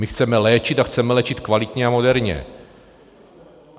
My chceme léčit a chceme léčit kvalitně a moderně.